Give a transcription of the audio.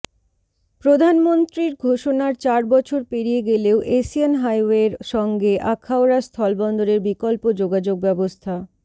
প্রধানমন্ত্রীর ঘোষণার চার বছর পেরিয়ে গেলেও এশিয়ান হাইওয়ের সঙ্গে আখাউড়া স্থলবন্দরের বিকল্প যোগাযোগব্যবস্থা